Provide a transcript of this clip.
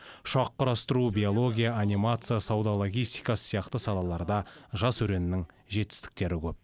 ұшақ құрастыру биология анимация сауда логистикасы сияқты салаларда жас өреннің жетістіктері көп